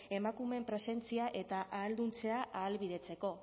emakumeen presentzia eta ahalduntzea ahalbidetzeko